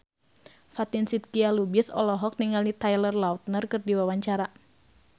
Fatin Shidqia Lubis olohok ningali Taylor Lautner keur diwawancara